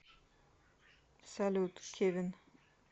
салют кевин